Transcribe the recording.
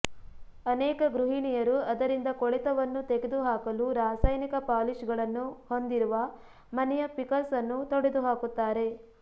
ಅನೇಕ ಗೃಹಿಣಿಯರು ಅದರಿಂದ ಕೊಳೆತವನ್ನು ತೆಗೆದುಹಾಕಲು ರಾಸಾಯನಿಕ ಪಾಲಿಷ್ಗಳನ್ನು ಹೊಂದಿರುವ ಮನೆಯ ಫಿಕಸ್ ಅನ್ನು ತೊಡೆದುಹಾಕುತ್ತಾರೆ